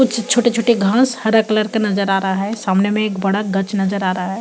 कुछ छोटे-छोटे घाँस हरा कलर का नज़र आ रहा है सामने में एक बड़ा गच नज़र आ रहा है।